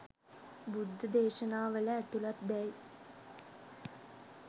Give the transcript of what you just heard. බුද්ධ දේශනාවල ඇතුළත් දැ යි